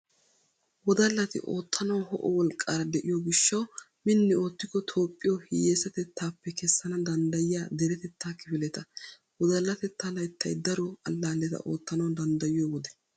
Wodallati oottanawu ho'o wolqqaara de'iyo gishshawu minni oottikko Toophphiyo hiyessatettaappe kessana danddayiya deretettaa kifileta. Wodallatettaa layttay daro allaaleta oottanawu danddayiyo wode.